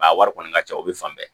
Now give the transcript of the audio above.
A wari kɔni ka ca o bɛ fan bɛɛ